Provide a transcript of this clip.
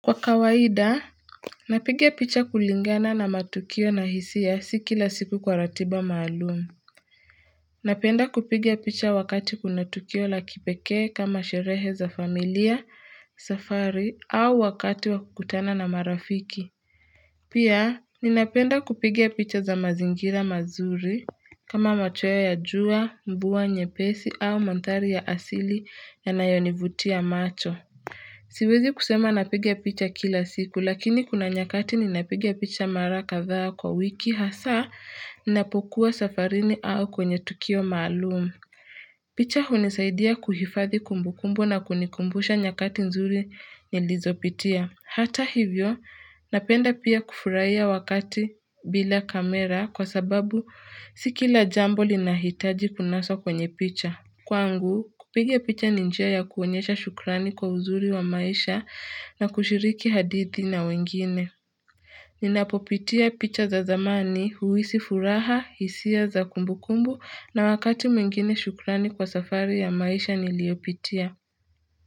Kwa kawaida napiga picha kulingana na matukio na hisai si kila siku kwa ratiba maalumu napenda kupigia picha wakati kuna tukio la kipekee kama sherehe za familia safari au wakati wa kukutana na marafiki pia ninapenda kupiga picha za mazingira mazuri kama machweo ya jua mvua nyepesi au mandhari ya asili yanayonivutia macho Siwezi kusema napiga picha kila siku lakini kuna nyakati ni napigia picha mara kadhaa kwa wiki hasaa ninapokuwa safarini au kwenye tukio maalum. Picha hunisaidia kuhifadhi kumbukumbu na kunikumbusha nyakati nzuri nilizopitia. Hata hivyo napenda pia kufurahia wakati bila kamera kwa sababu si kila jambo linahitaji kunaswa kwenye picha. Kwangu, kupiga picha ni njia ya kuonyesha shukrani kwa uzuri wa maisha na kushiriki hadithi na wengine. Ninapopitia picha za zamani, huhisi furaha, hisia za kumbu kumbu na wakati mwingine shukrani kwa safari ya maisha niliyopitia.